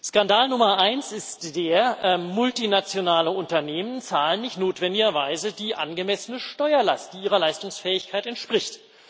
Skandal Nummer eins ist der Multinationale Unternehmen zahlen nicht notwendigerweise die angemessene Steuerlast, die ihrer Leistungsfähigkeit entspricht.